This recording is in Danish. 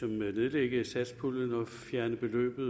nedlægge satspuljen og flytte beløbet